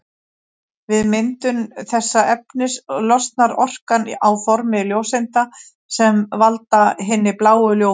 Við myndun þessa efnis losnar orka á formi ljóseinda sem valda hinni bláu ljómun.